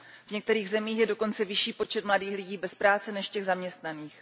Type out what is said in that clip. V některých zemích je dokonce vyšší počet mladých lidí bez práce než těch zaměstnaných.